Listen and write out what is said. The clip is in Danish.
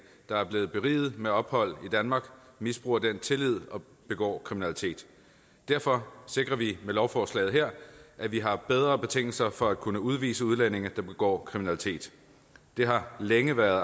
der er blevet beriget med ophold i danmark misbruger den tillid og begår kriminalitet derfor sikrer vi med lovforslaget her at vi har bedre betingelser for at kunne udvise udlændinge der begår kriminalitet det har længe været